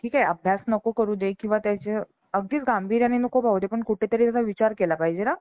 ठीक आहे अभ्यास नको करू रे पण त्याचं अगदीच गांभीर्याने नको पाहू दे पण त्याचा कुठेतरी विचार केला पाहिजे ना